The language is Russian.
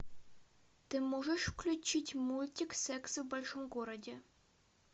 ты можешь включить мультик секс в большом городе